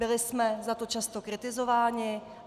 Byli jsme za to často kritizováni.